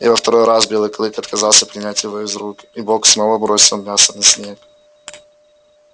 и во второй раз белый клык отказался принять его из рук и бог снова бросил мясо на снег